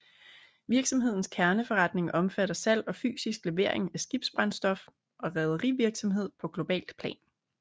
Virksomhedens kerneforretning omfatter salg og fysisk levering af skibsbrændstof og rederivirksomhed på globalt plan